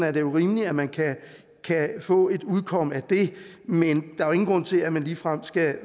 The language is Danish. er det rimeligt at man kan få et udkomme af det men der er ingen grund til at man ligefrem skal